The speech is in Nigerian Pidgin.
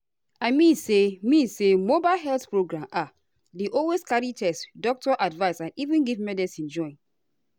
i mean say mean say mobile health program ah dey always carry test doctor advice and even give medicine join.